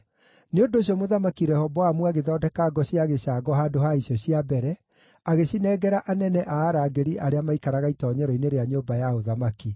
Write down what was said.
Nĩ ũndũ ũcio Mũthamaki Rehoboamu agĩthondeka ngo cia gĩcango handũ ha icio cia mbere, agĩcinengera anene a arangĩri arĩa maaikaraga itoonyero-inĩ rĩa nyũmba ya ũthamaki.